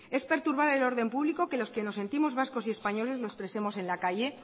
es perturbar el orden público que los que nos sentimos vascos y españoles lo expresemos en la calle